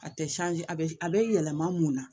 A tɛ a bɛ a bɛ yɛlɛma mun na